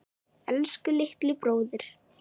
Elsku litli bróðir.